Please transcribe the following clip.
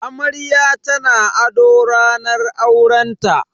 Amarya tana ado ranar aurenta.